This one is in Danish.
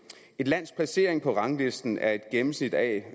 et lands placering på ranglisten er et gennemsnit af